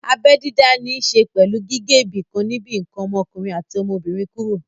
Abẹ́ dídá ní ṣe pẹ̀lú gígé ibìkan níbi ǹkan ọmọkùnrin àti ọmọbìnrin kúrò